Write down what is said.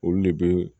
Olu de bɛ